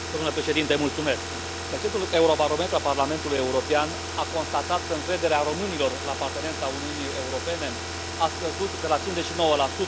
Domnule președinte, recentul Eurobarometru al Parlamentului European a constatat că încrederea românilor în apartenența la Uniunea Europeană a scăzut de la 59 la